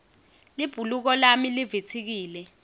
libhuluko lami livitsikile